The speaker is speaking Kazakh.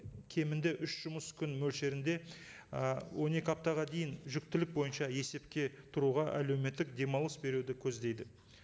кемінде үш жұмыс күн мөлшерінде ы он екі аптаға дейін жүктілік бойынша есепке тұруға әлеуметтік демалыс беруді көздейді